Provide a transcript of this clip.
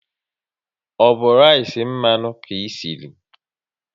Ọ bụ rice mmanụ ka esiri?